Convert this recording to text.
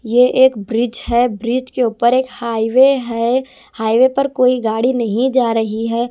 ये एक ब्रिज है ब्रिज के ऊपर एक हाईवे है हाईवे पर कोई गाड़ी नहीं जा रही है।